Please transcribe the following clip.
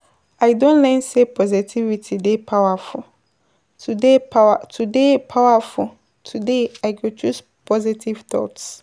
I don learn sey positivity dey powerful, today powerful, today I go choose positive thoughts.